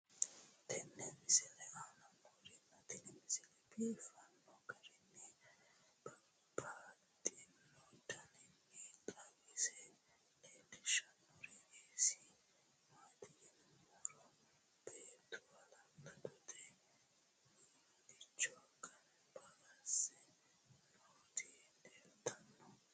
tenne misile aana noorina tini misile biiffanno garinni babaxxinno daniinni xawisse leelishanori isi maati yinummoro beettu haalaandette muliicho ganbba asse nootti leelittanno